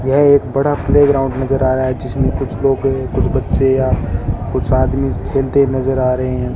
यह एक बड़ा प्लेग्राउंड नज़र आ रहा है जिसमें कुछ लोग कुछ बच्चे या कुछ आदमी खेलते नजर आ रहे है।